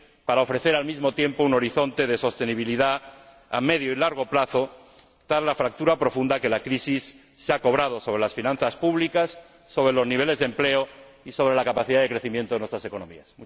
para ofrecer al mismo tiempo un horizonte de sostenibilidad a medio y largo plazo tras la fractura profunda que la crisis se ha cobrado sobre las finanzas públicas, sobre los niveles de empleo y sobre la capacidad de crecimiento de nuestras economías.